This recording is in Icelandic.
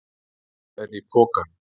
Hvað er í pokanum?